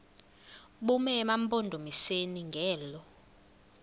bume emampondomiseni ngelo